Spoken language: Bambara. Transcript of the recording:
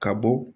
Ka bɔ